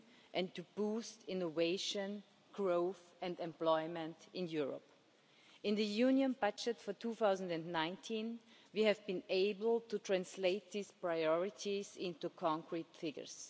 and to boost innovation, growth and employment in Europe. In the Union budget for 2019, we have been able to translate these priorities into concrete figures.